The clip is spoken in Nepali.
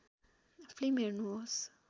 फिल्म हेर्नुहोस्